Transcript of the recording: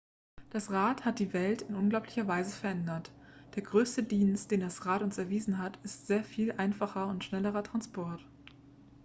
das rad hat die welt in unglaublicher weise verändert der größte dienst den das rad uns erwiesen hat ist sehr viel einfacherer und schnellerer transport